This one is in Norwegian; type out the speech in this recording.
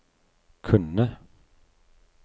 kunne